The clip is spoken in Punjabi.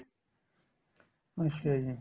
ਅੱਛਾ ਜੀ